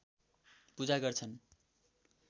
पूजा गर्छन्